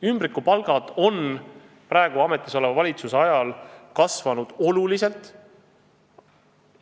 Ümbrikupalgad on ametis oleva valitsuse ajal kasvanud oluliselt.